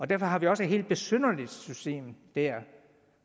derfor har vi jo også et helt besynderligt system der